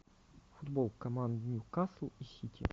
футбол команд ньюкасл и сити